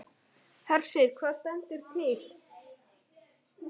Hersir, hvað stendur til?